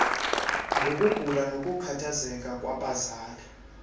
ngokugula nokukhathazeka kwabazali